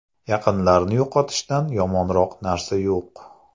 Yaqinlarni yo‘qotishdan yomonroq narsa yo‘q.